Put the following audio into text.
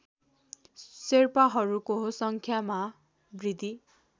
शेर्पाहरूको सङ्ख्यामा वृद्धी